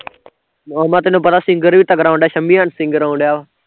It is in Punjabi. ਉਹ ਮੈਂ ਕਿਹਾਂ ਤੈਨੂੰ ਪਤਾ singer ਵੀ ਤਗੜਾ ਆਉਣ ਡਿਆ ਸ਼ਮੀ and singer ਆਉਣ ਡਿਆ ਵਾਂ